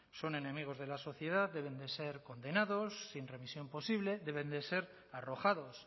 son enemigos de la sociedad deben de ser condenados sin revisión posible deben de ser arrojados